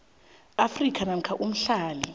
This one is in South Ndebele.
afrika namkha umhlali